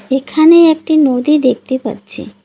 এখানে একটি নদী দেখতে পাচ্ছি।